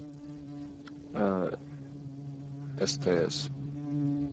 а стс